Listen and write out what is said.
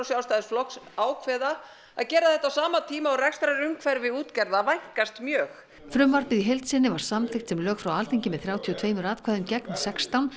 Sjálfstæðisflokks ákveða að gera þetta á sama tíma og rekstrarumhverfi útgerðar vænkast mjög frumvarpið í heild sinni var samþykkt sem lög frá Alþingi með þrjátíu og tveimur atkvæðum gegn sextán